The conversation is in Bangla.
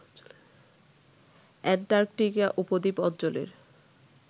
অ্যান্টার্কটিকা উপদ্বীপ অঞ্চলের